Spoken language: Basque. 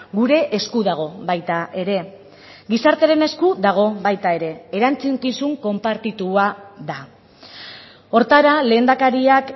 gure esku dago baita ere gizartearen esku dago baita ere erantzukizun konpartitua da horretara lehendakariak